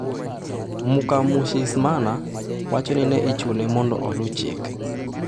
Mukamushinismana wacho ni ne ichune mondo oluw chike.